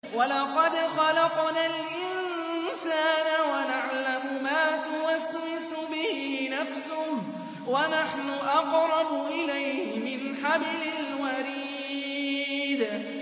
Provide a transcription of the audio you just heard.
وَلَقَدْ خَلَقْنَا الْإِنسَانَ وَنَعْلَمُ مَا تُوَسْوِسُ بِهِ نَفْسُهُ ۖ وَنَحْنُ أَقْرَبُ إِلَيْهِ مِنْ حَبْلِ الْوَرِيدِ